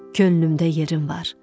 Könlümdə yerim var.